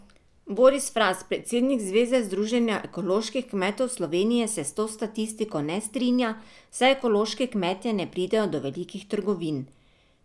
Boris Fras, predsednik Zveze združenja ekoloških kmetov Slovenije se s to statistiko ne strinja, saj ekološki kmetje ne pridejo do velikih trgovin.